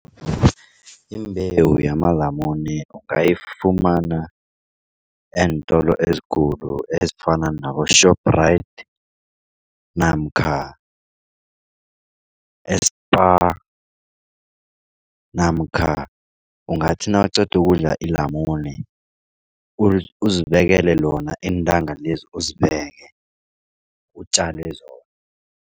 Imbewu yamalamune ungayifumana eentolo ezikulu ezifana nabo-Shoprite namkha e-Spar namkha ungathi nawuqeda ukudla ilamune uzibekele lona iintanga lezi uzibeke utjale zona.